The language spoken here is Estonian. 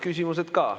Küsimused ka.